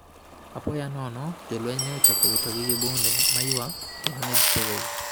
Apoya nono, jolweny ne ochako witogi gi bunde ma ywak kendo ne gipogo gi.